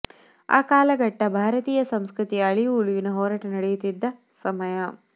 ಆ ಕಾಲಘಟ್ಟ ಭಾರತೀಯ ಸಂಸ್ಕೃತಿಯ ಅಳಿವು ಉಳಿವಿನ ಹೋರಾಟ ನಡೆಯುತ್ತಿದ್ದ ಸಮಯ